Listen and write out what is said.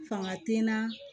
Fanga ti naa